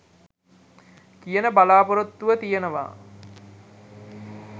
කියන බලා‍පොරොත්තුව තියෙනවා.